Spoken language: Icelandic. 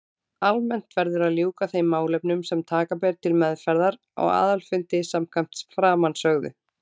Almennt verður að ljúka þeim málefnum sem taka ber til meðferðar á aðalfundi samkvæmt framansögðu.